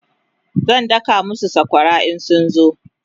zan daka masu sakwara in sun zo